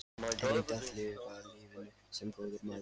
Reyndu að lifa lífinu- sem góður maður.